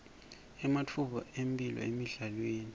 ematfuba emphilo emidlalweni